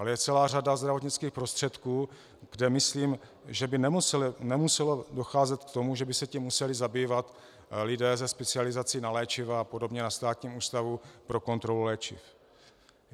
Ale je celá řada zdravotnických prostředků, kde myslím, že by nemuselo docházet k tomu, že by se tím museli zabývat lidé se specializací na léčiva a podobně na Státním ústavu pro kontrolu léčiv.